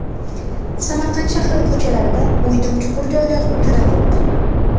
Samarqand shahri ko‘chalarida o‘ydim-chuqur joylar juda ko‘p.